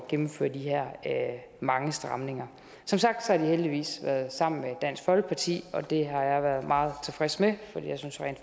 gennemføre de her mange stramninger det som sagt heldigvis været sammen med dansk folkeparti og det har jeg været meget tilfreds med for jeg synes rent